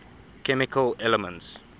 chemical elements